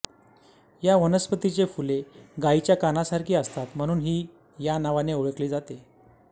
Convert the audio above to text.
या वनस्पतीची फुले गायीच्या कानासारखी असतात म्हणून ही या नावाने ओळखली जाते